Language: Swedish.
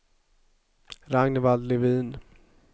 Ragnvald Levin